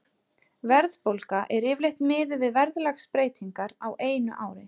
Verðbólga er yfirleitt miðuð við verðlagsbreytingar á einu ári.